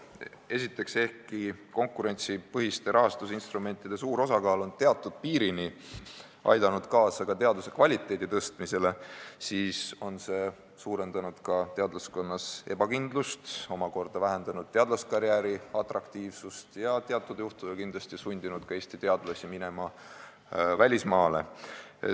Esiteks, ehkki konkurentsipõhiste rahastusinstrumentide suur osakaal on teatud piirini aidanud kaasa teaduse kvaliteedi parandamisele, on see teadlaskonnas suurendanud ka ebakindlust, vähendanud omakorda teadlaskarjääri atraktiivsust ja teatud juhtudel sundinud Eesti teadlasi minema ka välismaale.